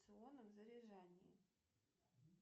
заряжании